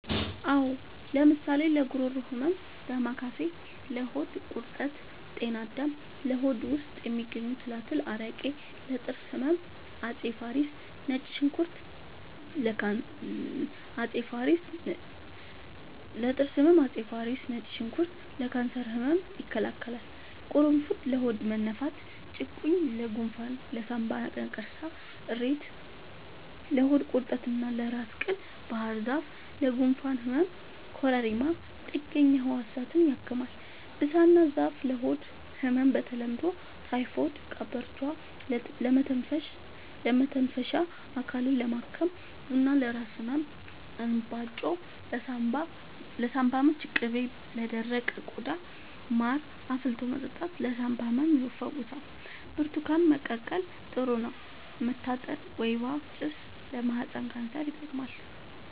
አዎ ለምሳሌ ለጉሮሮ ህመም ዳማከሴ ለሆድ ቁርጠት ጤና አዳም ለሆድ ውስጥ የሚገኙ ትላትል አረቄ ለጥርስ ህመም አፄ ፋሪስ ነጭ ሽንኩርት ለካንሰር ህመም ይከላከላል ቁሩፉድ ለሆድ መነፋት ጭቁኝ ለጎንፋን ለሳንባ ነቀርሳ እሬት ለሆድ ቁርጠት እና ለራስ ቅል ባህርዛፍ ለጉንፋን ህመም ኮረሪማ ጥገኛ ህዋሳትን ያክማል ብሳና ዛፍ ለሆድ ህመም በተለምዶ ታይፎድ ቀበርቿ ለመተንፈሻ አካልን ለማከም ቡና ለራስ ህመም እንባጮ ለሳንባ ምች ቅቤ ለደረቀ ቆዳ ማር አፍልቶ መጠጣት ለሳንባ ህመም ይፈውሳል ብርቱካን መቀቀል ጥሩ ነው መታጠን ወይባ ጭስ ለማህፀን ካንሰር ይጠቅማል